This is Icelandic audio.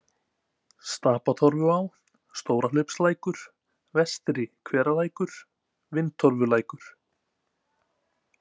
Stapatorfuá, Stórahlaupslækur, Vestri-Hveralækur, Vindtorfulækur